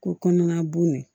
Ko kɔnɔna bon